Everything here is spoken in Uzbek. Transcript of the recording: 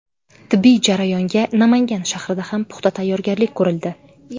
Tibbiy jarayonga Namangan shahrida ham puxta tayyorgarlik ko‘rildi.